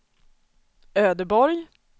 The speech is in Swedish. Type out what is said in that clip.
Ödeborg